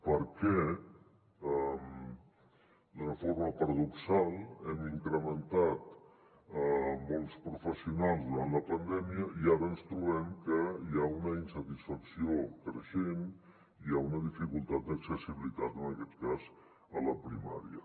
perquè d’una forma paradoxal hem incrementat molts professionals durant la pandèmia i ara ens trobem que hi ha una insatisfacció creixent i hi ha una dificultat d’accessibilitat en aquest cas a la primària